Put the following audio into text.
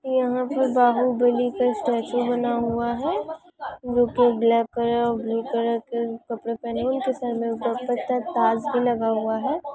यहाँ पर बाहुबली का स्ट्याचू बना हुआ है जोकि ब्लैक कलर और ब्लू कलर के कपड़े पहने हुए उनके सर में का ताज भी लगा हुआ है।